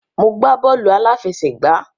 Mo gbá bọ́ọ̀lù àláfẹsẹ̀gbá.